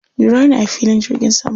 Jira ni a filin jirgin saman.